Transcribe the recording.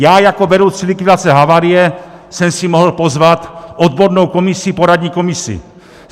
Já jako vedoucí likvidace havárie jsem si mohl pozvat odbornou komisi, poradní komisi.